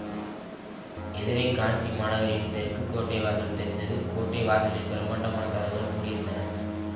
எதிரே காஞ்சி மாநகரின் தெற்கு கோட்டை வாசல் தெரிந்தது கோட்டை வாசலின் பிரம்மாண்டமான கதவுகள் மூடியிருந்தன